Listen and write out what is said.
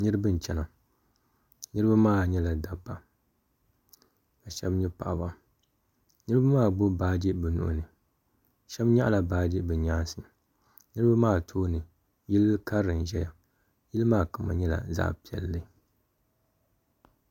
niriba n-chana niriba maa nyɛla dabba ka shɛba nyɛ paɣaba niriba maa gbubi baaji bɛ nuhi ni shɛba nyaɣila baaji bɛ nyaansi niriba maa tooni yili karili n-ʒiya yili maa kama nyɛla zaɣ' piɛlli.